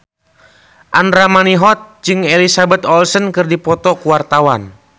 Andra Manihot jeung Elizabeth Olsen keur dipoto ku wartawan